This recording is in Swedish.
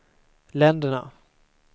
länderna